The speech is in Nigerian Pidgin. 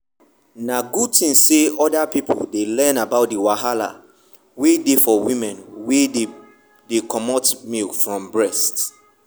na good thing say other people dey learn about the wahala wey dey for women wey dey comot milk from breast.